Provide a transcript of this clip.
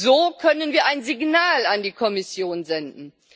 So können wir ein Signal an die Kommission senden.